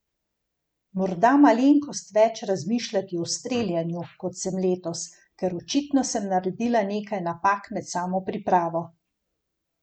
Morda malenkost več razmišljati o streljanju, kot sem letos, ker očitno sem naredila nekaj napak med samo pripravo.